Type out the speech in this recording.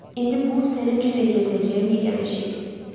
İndi bu sənin üçün eləyə biləcəyim yeganə şeydir.